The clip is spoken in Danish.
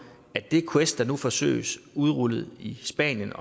at vi quest der nu forsøges udrullet i spanien